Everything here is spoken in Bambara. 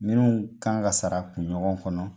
Minun kan ka sara kunɲɔgɔn kɔnɔ